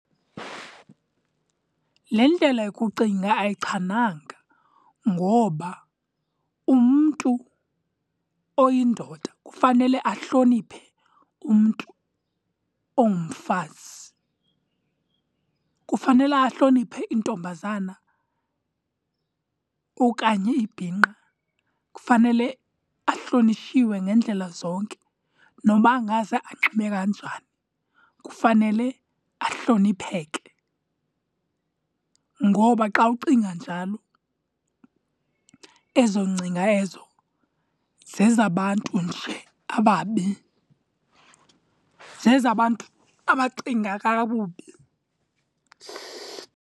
Le ndlela yokucinga ayichananga ngoba umntu oyindoda kufanele ahloniphe umntu ongumfazi. Kufanele ahloniphe intombazana okanye ibhinqa. Kufanele ahlonitshiwe ngeendlela zonke. Noba angaze anxibe kanjani, kufanele ahlonipheke. Ngoba xa ucinga njalo ezo ngcinga ezo zezabantu nje ababi, zezabantu abacinga kakubi.